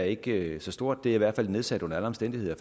ikke så stort det er i hvert fald nedsat under alle omstændigheder